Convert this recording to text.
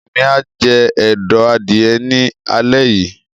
Emi a jẹ ẹdọ adìyẹ ní alẹ yìí.